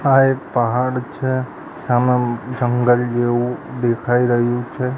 આ એક પહાડ છે સામે જંગલ જેવુ દેખાઈ રહ્યુ છે.